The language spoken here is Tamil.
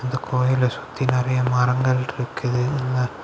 இந்த கோயிலை சுத்தி நறைய மரங்கள் இருக்குது உள்ள.